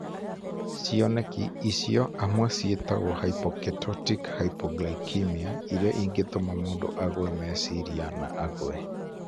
Cioneki icio hamwe ciĩtagwo hypoketotic hypoglycemia, iria ingĩtũma mũndũ agũe meciria na agũe.